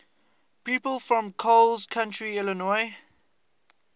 people from coles county illinois